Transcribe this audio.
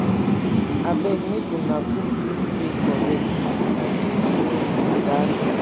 abeg make una cook food wey correct my pikin name be dalu